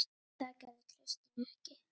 En það gerði Kristín ekki.